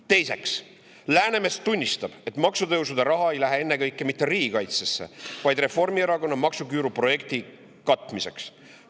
Teiseks, Läänemets tunnistab, et maksutõusudega raha ei lähe ennekõike mitte riigikaitsesse, vaid Reformierakonna maksuküüruprojekti katmiseks.